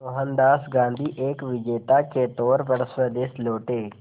मोहनदास गांधी एक विजेता के तौर पर स्वदेश लौटे